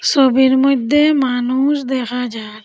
ছবির মইধ্যে মানুষ দেখা যার ।